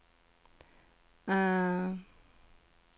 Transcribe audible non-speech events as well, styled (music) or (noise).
(hesitation)